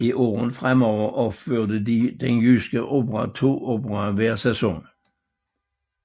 I årene fremover opførte Den Jyske Opera to operaer hver sæson